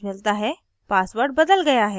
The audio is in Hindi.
मुझे अभी एक message मिलता है